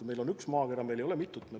Meil on üks maakera, meil ei ole mitut.